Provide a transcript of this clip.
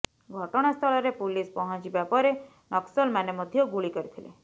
ଘଟଣାସ୍ଥଳରେ ପୁଲିସ ପହଞ୍ଚିବା ପରେ ନକ୍ସଲମାନେ ମଧ୍ୟ ଗୁଳି କରିଥିଲେ